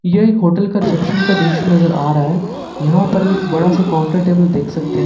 यह होटल का क्षेत्र का दृश्य नजर आ रहा है यहां पर हम एक बड़ा सा काउंटर टेबल देख सकते हैं।